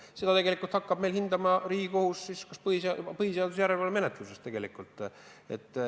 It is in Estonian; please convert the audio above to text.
Seda tegelikult hakkaks meil hindama Riigikohus põhiseaduse järelevalve menetluses.